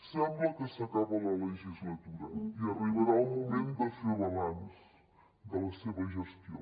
sembla que s’acaba la legislatura i arribarà el moment de fer balanç de la seva gestió